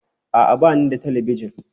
A'a, ba ni da Talabijin.